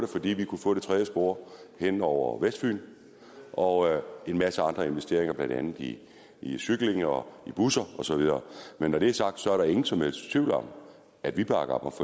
fordi vi kunne få det tredje spor hen over vestfyn og en masse andre investeringer blandt andet i i cykling og busser og så videre men når det er sagt er der ingen som helst tvivl om at vi bakker